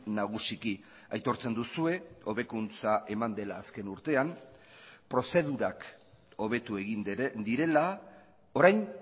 nagusiki aitortzen duzue hobekuntza eman dela azken urtean prozedurak hobetu egin direla orain